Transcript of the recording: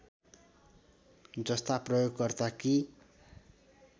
जस्ता प्रयोगकर्ता कि